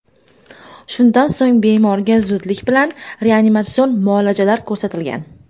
Shundan so‘ng, bemorga zudlik bilan reanimatsion muolajalar ko‘rsatilgan.